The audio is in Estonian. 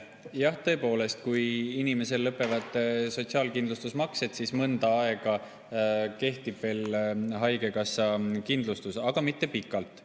Jah, tõepoolest, kui inimesel lõpevad sotsiaalkindlustusmaksed, siis mõnda aega haigekassakindlustus kehtib, aga mitte pikalt.